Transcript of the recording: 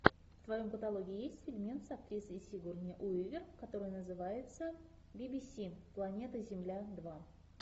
в твоем каталоге есть фильмец с актрисой сигурни уивер который называется би би си планета земля два